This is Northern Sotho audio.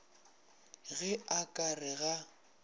ge a ka re ga